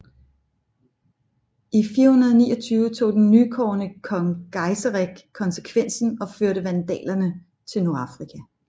I 429 tog den nykårede kong Geiserik konsekvensen og førte vandalerne til Nordafrika